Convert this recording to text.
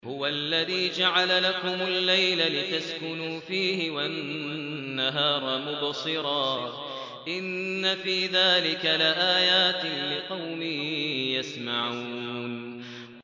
هُوَ الَّذِي جَعَلَ لَكُمُ اللَّيْلَ لِتَسْكُنُوا فِيهِ وَالنَّهَارَ مُبْصِرًا ۚ إِنَّ فِي ذَٰلِكَ لَآيَاتٍ لِّقَوْمٍ يَسْمَعُونَ